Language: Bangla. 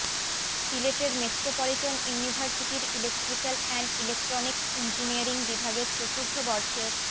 সিলেটের মেট্রোপলিটন ইউনিভার্সিটির ইলেকট্রিক্যাল অ্যান্ড ইলেকট্রনিক্স ইঞ্জিনিয়ারিং বিভাগের চতুর্থ বর্ষের